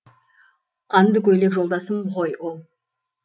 қанды көйлек жолдасым ғой ол